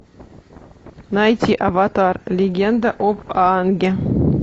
найти аватар легенда об аанге